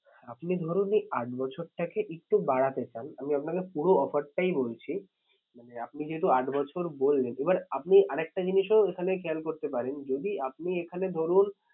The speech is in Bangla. আপনি ধরুন এই আট বছরটাকে একটু বাড়াতে চান আমি আপনাকে পুরো offer টাই বলছি। মানে আপনি যেহেতু আট বছর বললেন এবার আপনি আর একটা জিনিসও এখানে খেয়াল করতে পারেন যদি আপনি এখানে ধরুন